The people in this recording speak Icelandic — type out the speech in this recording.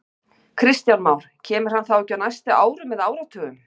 Kristján Már: Kemur hann þá ekki á næstu árum eða áratugum?